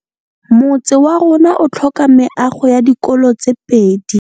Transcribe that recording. Motse warona o tlhoka meago ya dikolô tse pedi.